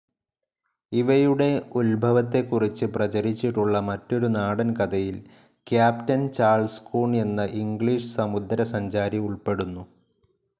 ഇവയുടെ ഉത്ഭവത്തെക്കുറിച്ച് പ്രചരിച്ചിട്ടുള്ള മറ്റൊരു നാടൻകഥയിൽ ക്യാപ്റ്റൻ ചാൾസ് കൂൺ എന്ന ഇംഗ്ളീഷ് സമുദ്ര സഞ്ചാരി ഉൾപ്പെടുന്നു.